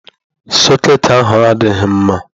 Sọcketị ahụ adịghị mma.